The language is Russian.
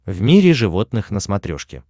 в мире животных на смотрешке